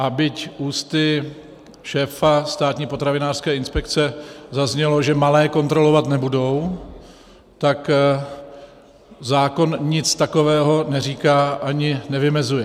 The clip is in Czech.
A byť ústy šéfa státní potravinářské inspekce zaznělo, že malé kontrolovat nebudou, tak zákon nic takového neříká ani nevymezuje.